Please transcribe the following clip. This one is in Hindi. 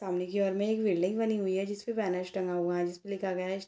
सामने के ओर में एक बिल्डिंग दिख रही है जिस पर बैनर्स टंगे हुए है जिसपे लिखा गया है --